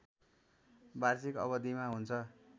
वार्षिक अवधिमा हुन्छ